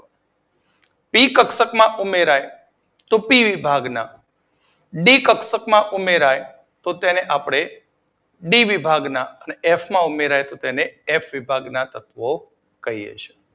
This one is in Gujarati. પી કક્ષકમાં ઉમેરાય છે તો પી વિભાગના ડી વિભાગ માં ઉમેરાય તો ડી વિભાગના અને એફ વિભાગમાં ઉમેરાય તો તેને આપડે એફ વિભાગના તત્વો કહીએ છીએ